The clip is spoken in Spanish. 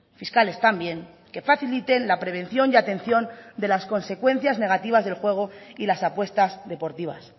fiscales también que faciliten la prevención y atención de las consecuencias negativas del juego y las apuestas deportivas